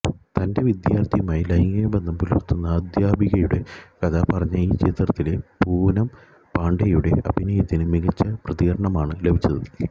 തന്റെ വിദ്യാർത്ഥിയുമായി ലൈംഗികബന്ധം പുലർത്തുന്ന അധ്യാപികയുടെ കഥ പറഞ്ഞ ഈ ചിത്രത്തിലെ പുനം പാണ്ഡെയുടെ അഭിനയത്തിനു മികച്ച പ്രതികരണമാണ് ലഭിച്ചത്